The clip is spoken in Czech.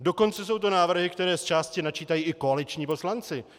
Dokonce jsou to návrhy, které zčásti načítají i koaliční poslanci.